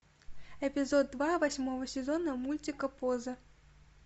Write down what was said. эпизод два восьмого сезона мультика поза